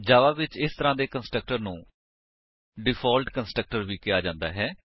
ਜਾਵਾ ਵਿੱਚ ਇਸ ਤਰਾਂ ਦੇ ਕੰਸਟਰਕਟਰ ਨੂੰ ਡਿਫਾਲਟ ਕੰਸਟਰਕਟਰ ਵੀ ਕਿਹਾ ਜਾਂਦਾ ਹੈ